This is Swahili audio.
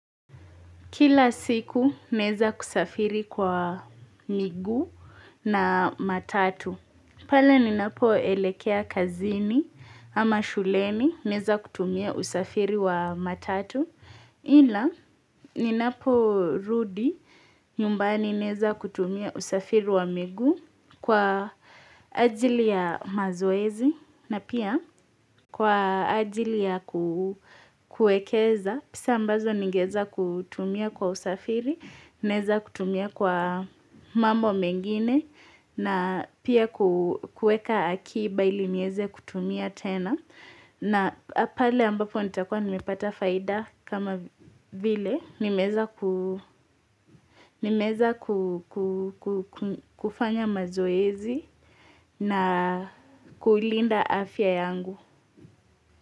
Kila siku naweza kusafiri kwa miguu na matatu. Pale ninapoelekea kazini ama shuleni naweza kutumia usafiri wa matatu. Ila ninaporudi nyumbani, naweza kutumia usafiri wa miguu, kwa ajili ya mazoezi na pia kwa ajili ya kuekeza. Pesa ambazo ningeweza kutumia kwa usafiri, naweza kutumia kwa mambo mengine na pia kuweka akiba ili niweze kutumia tena. Na pale ambapo nitakuwa nimepata faida kama vile nimeweza nimeweza kufanya mazoezi na kuilinda afya yangu.